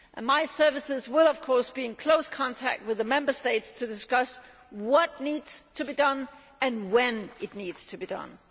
My services will of course be in close contact with the Member States to discuss what needs to be done and when it needs to be done.